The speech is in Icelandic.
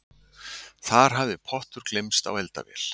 Þar hafði pottur gleymst á eldavél